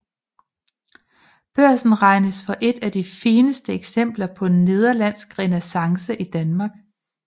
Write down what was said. Børsen regnes for et af de fineste eksempler på nederlandsk renæssance i Danmark